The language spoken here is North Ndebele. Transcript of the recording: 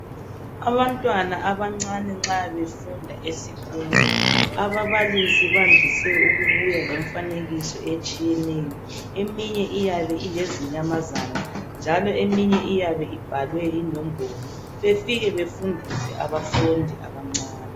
abantwana abancane nxa befunda esikolo ababalisi bandise ukubuya lemfanekiso etshiyeneyo eminye iyabe ilezinyamazana njalo eminye iyabe ibhalwe inombolo befike befundiswe abafundi abancane